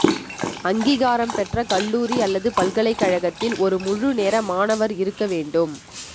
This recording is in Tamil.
அங்கீகாரம் பெற்ற கல்லூரி அல்லது பல்கலைக்கழகத்தில் ஒரு முழு நேர மாணவர் இருக்க வேண்டும்